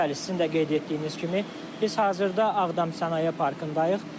Bəli, sizin də qeyd etdiyiniz kimi, biz hazırda Ağdam Sənaye Parkındayıq.